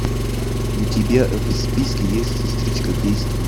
у тебя в списке есть сестричка действуй